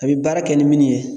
A bi baara kɛ ni minnu ye